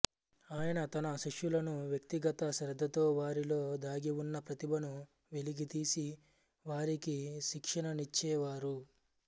ఆయన తన శిష్యులను వ్యక్తిగత శ్రద్ధతో వారిలో దాగిఉన్న ప్రతిభను వెలికితీసి వారికి శిక్షణనిచ్చేవారు